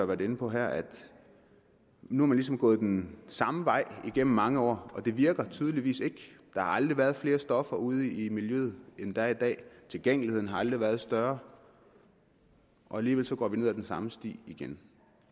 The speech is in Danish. været inde på her at man nu ligesom er gået den samme vej gennem mange år og det virker tydeligvis ikke der har aldrig været flere stoffer ude i miljøet end der er i dag tilgængeligheden har aldrig været større og alligevel går vi ned ad den samme sti igen